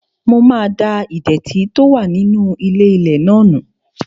Mo máa da ìdẹ̀tì tó wà nínú ilé-ilẹ̀ náà nù